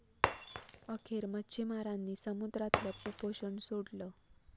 अखेर मच्छीमारांनी समुद्रातलं उपोषण सोडलं